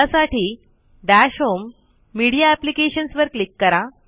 त्यासाठी dash home media applications वर click करा